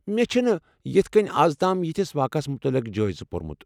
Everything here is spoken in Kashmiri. مےٚ چھِنہٕ یتھہٕ كٕنۍ از تام یتھس واقعس مُتعلق جٲیزٕ پُرمُت ۔